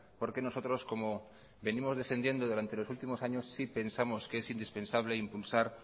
porque nosotros como venimos defendiendo durante los últimos años sí pensamos que es indispensable impulsar